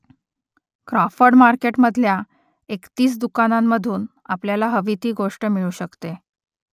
Crawford मार्केटमधल्या एकतीस दुकानांमधून आपल्याला हवी ती गोष्ट मिळू शकते